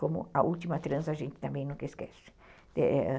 Como a última transa, a gente também nunca esquece, é...